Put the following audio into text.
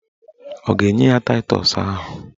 Ọ ga-enye ya taịtọs ahụ?